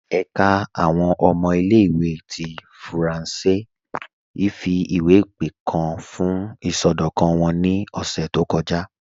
Ẹ̀ká àwọn ọmọ ilẹ̀-ìwé ti fírànṣẹ̀ ifiwepe kan fún isọdọkan wọn ni ọ̀ṣẹ̀ tó kọja.